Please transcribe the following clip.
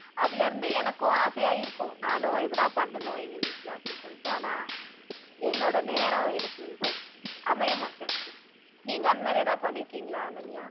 அதுல இருந்து எனக்கும் ஆசையா இருக்கும் நானும் இதெல்லாம் பண்ணணும் எங்க வீட்டிலே அப்படி சொல்லிட்டு ஆனா என்னோட நேரம் எனக்கு செ அமையா மாட்டேன்னுது நீங்க அந்த்மாதிரி எதாவது பன்ணீருக்கீங்களா அனன்யா